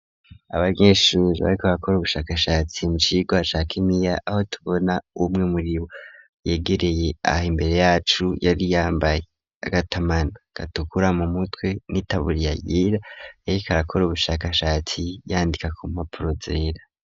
Abanyeshure bariko bakora ubushakashatsi mukigwa ca kimia aho tubona umwe muribo yegereye aha imbere yacu yari yambaye agatamana gatukura mu mutwe n'itaburiya yera yariko arakora ubushakashatsi yandika ku mpapuro zera.